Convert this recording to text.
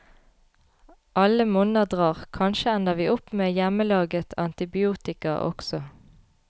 Alle monner drar, kanskje ender vi opp med hjemmelaget antibiotika også.